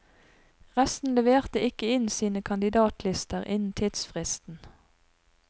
Resten leverte ikke inn sine kandidatlister innen tidsfristen.